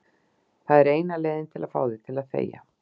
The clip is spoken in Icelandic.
Það er eina leiðin til að fá þig til að þegja.